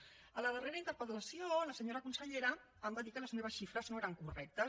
a la darrera interpel·lació la senyora consellera em va dir que les meves xifres no eren correctes